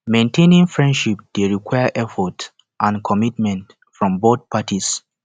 maintaining friendships dey require effort and commitment from both parties